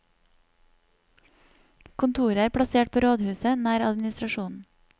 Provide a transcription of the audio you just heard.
Kontoret er plassert på rådhuset, nær administrasjonen.